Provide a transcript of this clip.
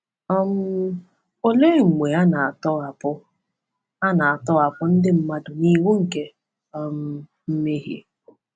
um Olee mgbe a na-atọhapụ a na-atọhapụ ndị mmadụ n’iwu nke um mmehie?